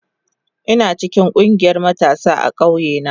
Ina cikin ƙungiyar matasa a ƙauye na.